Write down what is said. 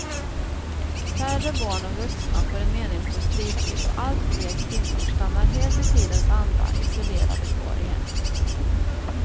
Färre barn och vuxna får en meningsfull fritid och allt fler kvinnor stannar helt i tidens anda isolerade kvar i hemmen.